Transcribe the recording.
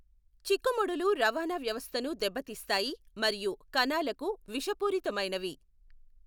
చిక్కుముడులు రవాణా వ్యవస్థను దెబ్బతీస్తాయి మరియు కణాలకు విషపూరితమైనవి.